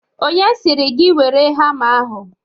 Onye siri gị were hama ahụ?